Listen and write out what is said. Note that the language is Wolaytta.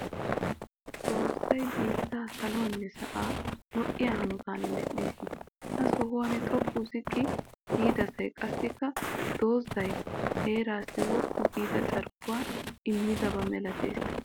Xoossay biittaa saluwaanne sa'aa lo'iya hanotan medhdhis. Ha sohuwan xoqqu ziqqi giidasay qassikka doozzay heeraassi woppu giida carkkuwa immidaba malatees.